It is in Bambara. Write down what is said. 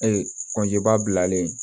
balen